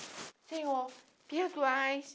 Senhor, perdoais